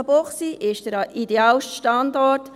Münchenbuchsee ist der idealste Standort.